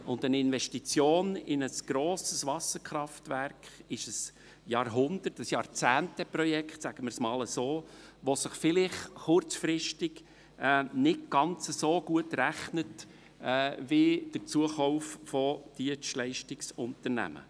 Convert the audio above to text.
Eine Investition in ein grosses Wasserkraftwerk ist ein Jahrhundert- oder ein Jahrzehnte-Projekt – sagen wir es einmal so –, welches sich vielleicht kurzfristig nicht ganz so gut rechnet wie der Zukauf von Dienstleistungsunternehmen.